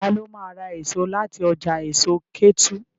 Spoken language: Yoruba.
Ta ló ma ra èso láti ọjà èso Kétu?